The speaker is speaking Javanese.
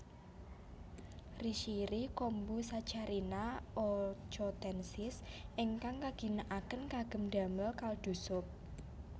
Rishiri kombu Saccharina ochotensis ingkang kaginakaken kagem damel kaldu sup